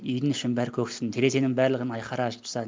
үйдің ішін бәрі көк түтін терезенің барлығын айқара ашып тастадым